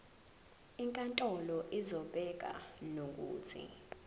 inkantolo izobeka nokuthi